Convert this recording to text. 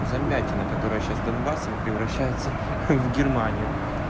замятина которая сейчас донбассом превращается в германию